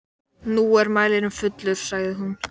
Nú er mælirinn fullur, sagði hún.